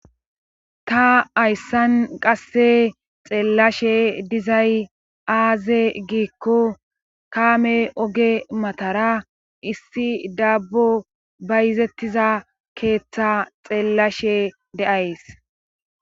Ta hayssan qasse xeellashe dizay aaze giikko kaame oge matara issi daabbo bayzettiza keetha xeellashe de7ays.